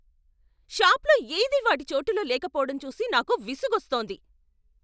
షాప్లో ఏదీ వాటి చోటులో లేకపోవటం చూసి నాకు విసుగొస్తోంది.